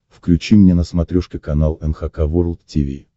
включи мне на смотрешке канал эн эйч кей волд ти ви